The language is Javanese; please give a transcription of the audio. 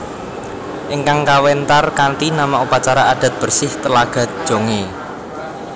Ingkang kawéntar kanthi nama Upacara adat bersih Telaga Jongé